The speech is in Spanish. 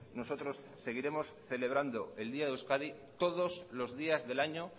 nosotros seguiremos celebrando el día de euskadi todos los días del año